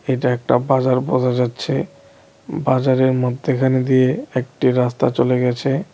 এটা একটা বাজার বোঝা যাচ্ছে বাজারের মধ্যিখান দিয়ে একটি রাস্তা চলে গেছে।